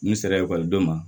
N sera ekɔlidenw ma